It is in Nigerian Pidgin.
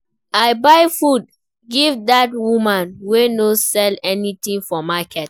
I buy food give dat woman wey no sell anytin for market.